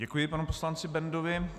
Děkuji panu poslanci Bendovi.